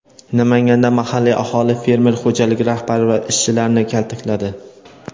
Namanganda mahalliy aholi fermer xo‘jaligi rahbari va ishchilarini kaltakladi.